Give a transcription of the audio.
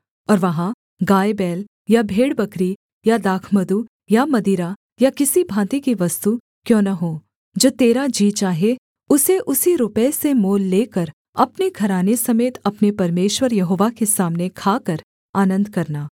और वहाँ गायबैल या भेड़बकरी या दाखमधु या मदिरा या किसी भाँति की वस्तु क्यों न हो जो तेरा जी चाहे उसे उसी रुपये से मोल लेकर अपने घराने समेत अपने परमेश्वर यहोवा के सामने खाकर आनन्द करना